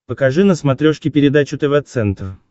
покажи на смотрешке передачу тв центр